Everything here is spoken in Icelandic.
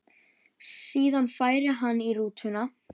Síðan færi hann í rútuna.